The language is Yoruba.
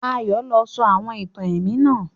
Ayó lo sọ àwon ìtàn èmí náà